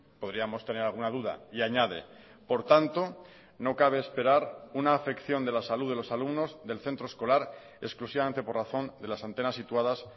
podríamos tener alguna duda y añade por tanto no cabe esperar una afección de la salud de los alumnos del centro escolar exclusivamente por razón de las antenas situadas